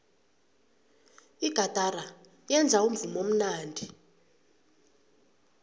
igatara yenza umvumo omnandi